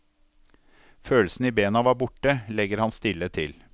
Følelsen i bena var borte, legger han stille til.